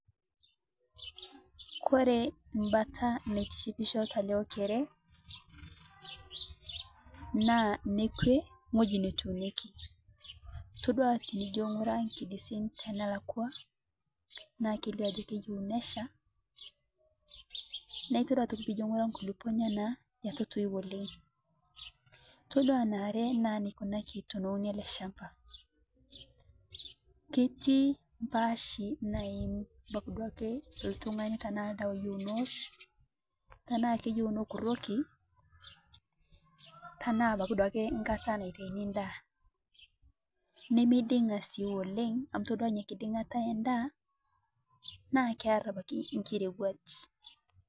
Kore embata naitishipisho talee okeree naa ng'hojii netuuneki iyeloo piijo ng'uraa nkidisin tanalakwaa naa keilio ajoo keyeu neshaa naa itodua otoki piijo ng'ura nkulipoo enyana etu etoi oleng', itodua naare naa neikunakii teneuni alee champaa keti mpaashi naim abaki duake ltung'ani tanaa ldawa eyeu nowun tanaa keyeu nokurokii tanaa abaki duake nkata naitaini ndaa nemeiding'a sii oleng' amu itodua inia kiding'ata endaa naa kear abakii nkirewaj.